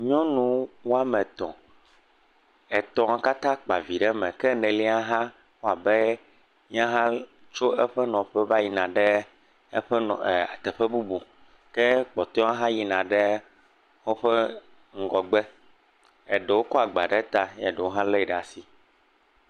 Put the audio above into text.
Nyɔnu wo ame etɔ̃. Etɔ̃a katã kpa vi ɖe me ke enelia hã wɔ abe yehã tso eƒe nɔƒe va yina ɖe teƒe bubu ke kpɔtɔe hã yina ɖe woƒe ŋgɔgbe. Eɖewo kɔ agba ɖe ta ɖewo hã li ɖe asi.